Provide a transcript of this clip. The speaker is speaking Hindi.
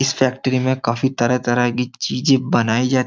इस फैक्ट्री में काफी तरह-तरह की चीजें बनाई जाती है।